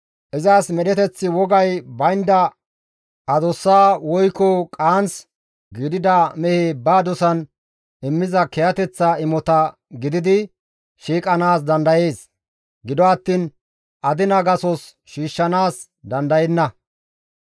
Izas medheteththi wogay baynda adussa woykko qaanth gidida mehe ba dosan immiza kiyateththa imota gididi shiiqanaas dandayees; gido attiin adina gasos shiishshanaas dandayenna.